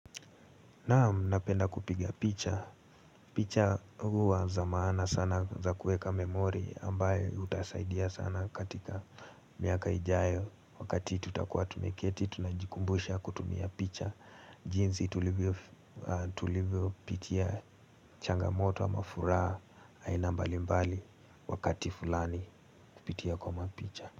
Naam napenda kupiga picha, picha huwa za maana sana za kuweka memori ambayo utasaidia sana katika miaka ijayo wakati tutakuwa tumeketi tunajikumbusha kutumia picha jinsi tulivyopitia changamoto ama furaha. Aina mbalimbali wakati fulani kupitia kwa mapicha.